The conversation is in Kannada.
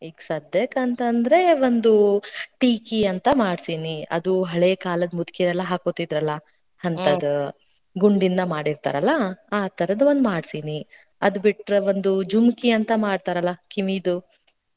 ಈಗ ಸದ್ಯಕಂತಂದ್ರೆ, ಒಂದು ಟೀಕಿ ಅಂತ ಮಾಡ್ಸಿನಿ. ಅದು ಹಳೇ ಕಾಲದ್ ಮುದ್ಕಿರೆಲ್ಲಾ ಹಾಕೋತಿದ್ರಲಾ. ಅಂತ್ಹದು. ಗುಂಡಿಂದ ಮಾಡಿರ್ತಾರಲಾ, ಆ ತರ್ದ್ ಒಂದ್ ಮಾಡ್ಸೇನಿ. ಅದ್ಬಿಟ್ರೆ ಒಂದು ಜುಮ್ಕಿ ಅಂತಾ ಮಾಡ್ತಾರಲಾ ಕಿವಿದು.